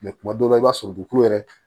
kuma dɔw la i b'a sɔrɔ dugukolo yɛrɛ